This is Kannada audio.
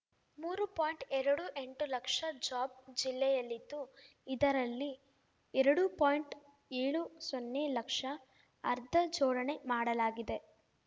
ಮೂರು ಪಾಯಿಂಟ್ಎರಡು ಎಂಟು ಲಕ್ಷ ಜಾಬ್‌ ಜಿಲ್ಲೆಯಲ್ಲಿದ್ದು ಇದರಲ್ಲಿ ಎರಡು ಪಾಯಿಂಟ್ಏಳು ಸೊನ್ನೆ ಲಕ್ಷ ಆರ್ಧ ಜೋಡಣೆ ಮಾಡಲಾಗಿದೆ